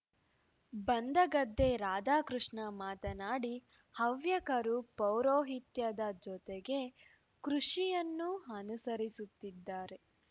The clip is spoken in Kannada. ಬಂದಗದ್ದೆ ರಾಧಾಕೃಷ್ಣ ಮಾತನಾಡಿ ಹವ್ಯಕರು ಪೌರೋಹಿತ್ಯದ ಜೊತೆಗೆ ಕೃಷಿಯನ್ನು ಅನುಸರಿಸುತ್ತಿದ್ದಾರೆ